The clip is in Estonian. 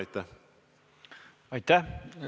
Aitäh!